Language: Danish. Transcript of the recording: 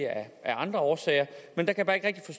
af andre årsager men jeg kan bare ikke rigtig